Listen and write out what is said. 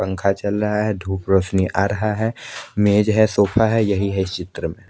पंखा चल रहा है धुप रौशनी आ रहा है मेज है सोफा है यही है इस चित्र में--